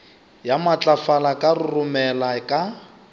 ya matlafala ka roromela ka